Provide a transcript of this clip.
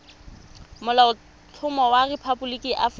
molaotlhomo wa rephaboliki ya aforika